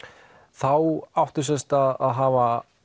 þá áttu sem sagt að hafa